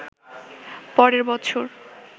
পরের বছর